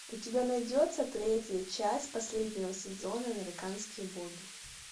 у тебя найдется третья часть последнего сезона американские боги